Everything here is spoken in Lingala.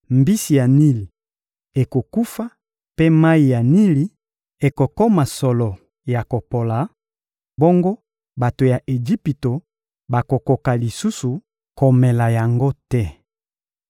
Mbisi ya Nili ekokufa mpe mayi ya Nili ekokoma solo ya kopola, bongo bato ya Ejipito bakokoka lisusu komela yango te.’›»